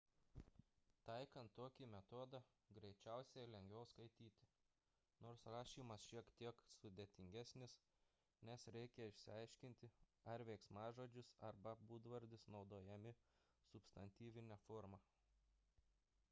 taikant tokį metodą greičiausiai lengviau skaityti nors rašymas šiek tiek sudėtingesnis nes reikia išsiaiškinti ar veiksmažodis arba būdvardis naudojami substantyvine forma